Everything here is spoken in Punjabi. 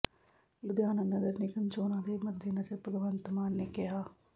ਲੁਧਿਆਣਾ ਨਗਰ ਨਿਗਮ ਚੋਣਾਂ ਦੇ ਮੱਦੇਨਜ਼ਰ ਭਗਵੰਤ ਮਾਨ ਨੇ ਕਿਹਾ